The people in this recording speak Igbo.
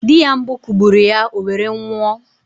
Di ya mbụ kụgburụ ya owere nwoụ